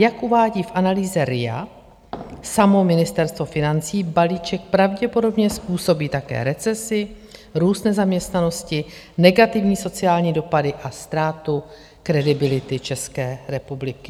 Jak uvádí v analýze RIA samo Ministerstvo financí, balíček pravděpodobně způsobí také recesi, růst nezaměstnanosti, negativní sociální dopady a ztrátu kredibility České republiky.